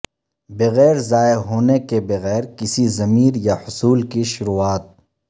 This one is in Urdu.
بغیر ضائع ہونے کے بغیر کسی ضمیر یا حصول کی شروعات